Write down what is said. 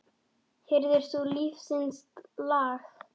Heyrðir þú lífsins lag?